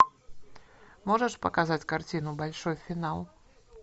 можешь показать картину большой финал